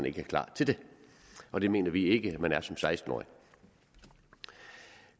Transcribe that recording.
ikke er klar til det og det mener vi ikke man er som seksten årig